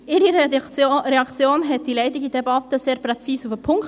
Ihre Reaktion brachte diese leidige Debatte sehr präzise auf den Punkt.